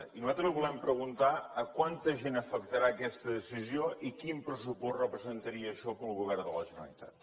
i nosaltres li volem preguntar a quanta gent afectarà aquesta decisió i quin pressupost representaria això per al govern de la generalitat